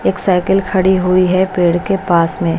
एक साइकिल खड़ी हुई है पेड़ के पास में--